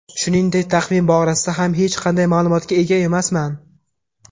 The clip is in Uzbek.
Shuningdek, taqvim borasida ham hech qanday ma’lumotga ega emasman.